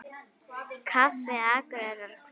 Kaffi Akureyri Hvenær?